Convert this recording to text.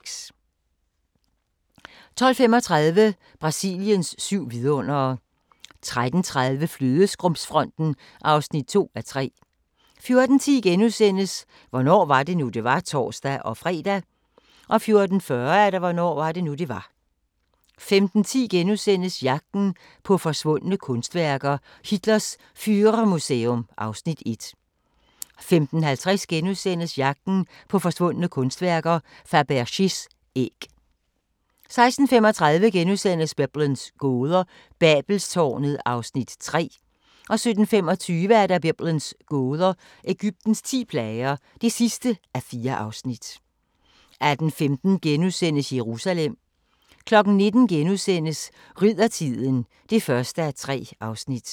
12:35: Brasiliens syv vidundere 13:30: Flødeskumsfronten (2:3) 14:10: Hvornår var det nu, det var? *(tor-fre) 14:40: Hvornår var det nu, det var? 15:10: Jagten på forsvundne kunstværker: Hitlers Führermuseum (Afs. 1)* 15:50: Jagten på forsvundne kunstværker: Fabergés æg (Afs. 2)* 16:35: Biblens gåder – Babelstårnet (3:4)* 17:25: Biblens gåder – Egyptens ti plager (4:4) 18:15: Jerusalem * 19:00: Riddertiden (1:3)*